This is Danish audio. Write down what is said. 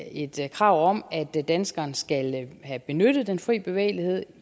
er et krav om at danskeren skal have benyttet den fri bevægelighed